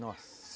Nossa!